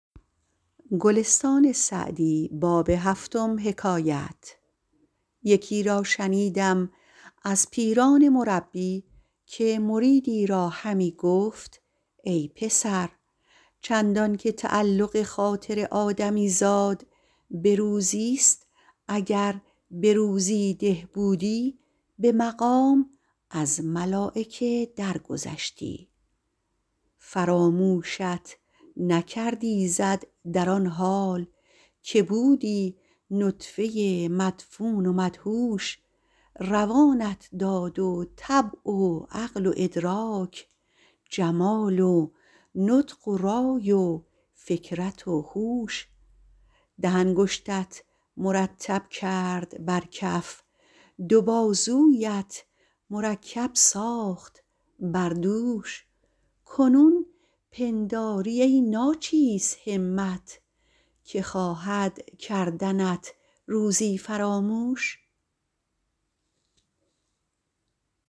یکی را شنیدم از پیران مربی که مریدی را همی گفت ای پسر چندان که تعلق خاطر آدمی زاد به روزی ست اگر به روزی ده بودی به مقام از ملایکه در گذشتی فراموشت نکرد ایزد در آن حال که بودی نطفه مدفون و مدهوش روانت داد و طبع و عقل و ادراک جمال و نطق و رای و فکرت و هوش ده انگشتت مرتب کرد بر کف دو بازویت مرکب ساخت بر دوش کنون پنداری ای ناچیز همت که خواهد کردنت روزی فراموش